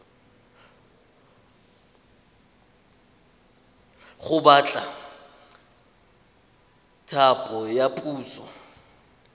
go batla thapo ya puso